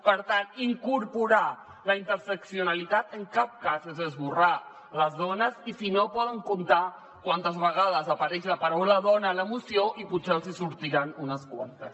per tant incorporar la interseccionalitat en cap cas és esborrar les dones i si no poden comptar quantes vegades apareix la paraula dona en la moció i potser els en sortiran unes quantes